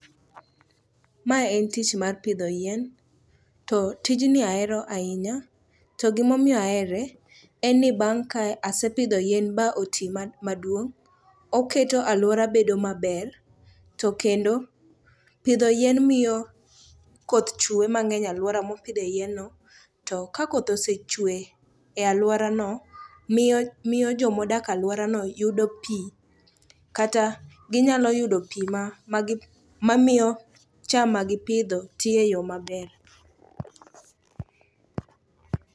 Mae en tich mar pidho yien, to tijni ahero ahinya to gimomiyo ahere en ni bang' ka asepidho yien ba oti maduong', oketo alwora bedo maber, to kendo pidho yien miyo koth chwe mang'eny e alwora mopidhe yienno. To ka koth osechwe e alworano, miyo jomadok alworano yudo pi kata ginyalo yudo pi mamiyo cham ma gipidho ti e yo maber.